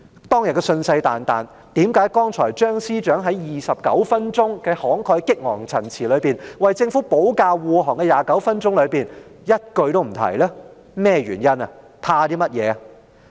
當天信誓旦旦，為何張司長剛才在29分鐘慷慨激昂的陳辭中，為政府保駕護航時一句也沒有提及呢？